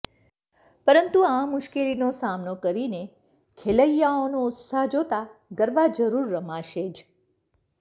પરંતુ આ મુશ્કેલીનો સામનો કરીને ખેલેયાઓનો ઉત્સાહ જાતા ગરબા જરૂર રમાશે જ